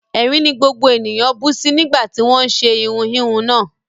Ẹ̀rín ni gbogbo ènìyàn bú sí nígbà tí wọ́n ń ṣe irun híhun náà